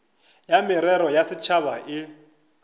ya merero ya setšhaba e